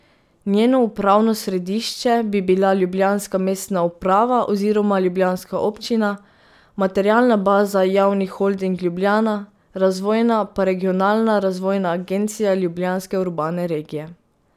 Njeno upravno središče bi bila ljubljanska mestna uprava oziroma ljubljanska občina, materialna baza Javni holding Ljubljana, razvojna pa Regionalna razvojna agencija Ljubljanske urbane regije.